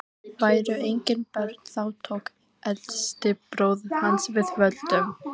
Væru engin börn þá tók elsti bróðir hans við völdum.